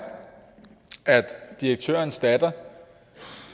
at direktørens datter